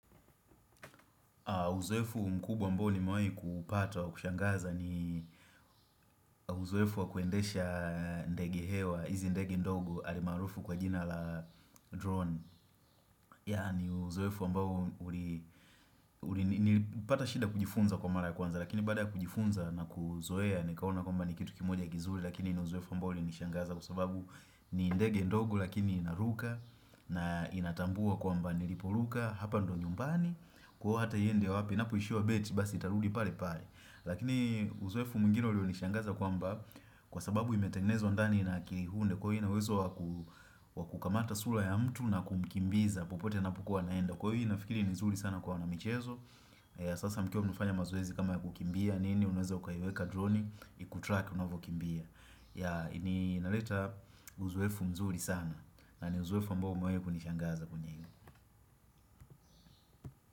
Uzoefu mkubwa ambao nimewahi kuupata wa kushangaza ni uzoefu wa kuendesha ndege hewa, hizi ndege ndogo almaarufu kwa jina la drone Yaani uzoefu ambao nilipata shida kujifunza kwa mara kwanza lakini baada ya kujifunza na kuuzoea nikaona kwamba ni kitu kimoja kizuri lakini ni uzoefu ambao ulinishangaza kwsababu ni ndege ndogo lakini inaruka na inatambua kwamba niliporuka hapa ndo nyumbani kwa hata iende wapi inapoishiwa betri, basi itarudi pale pale. Lakini uzoefu mwingine ulionishangaza kwamba Kwa sababu imetengenezwa ndani na kihunde Kwa hivyo ina uwezo wakukamata sura ya mtu na kumkimbiza popote anapokuwa anaenda. Kwa hivyo nafikiri ni mzuri sana kwa wanamichezo Sasa mkiwa mnafanya mazoezi kama ya kukimbia nini, unaweza ukaiweka droni ikutrack unavyokimbia. Ya inaleta uzoefu mzuri sana, na ni uzoefu ambao umewahi kunishangaza kwenye.